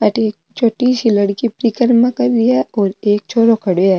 अठे एक छोटी सी लड़की परिक्रमा कर रही है और एक छोरो खड़ो है।